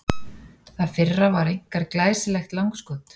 Það fyrra var einkar glæsilegt langskot.